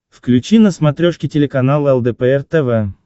включи на смотрешке телеканал лдпр тв